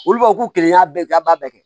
Olu b'a fɔ k'u kelen y'a bɛɛ kɛ a b'a bɛɛ kɛ